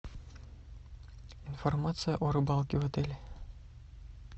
информация о рыбалке в отеле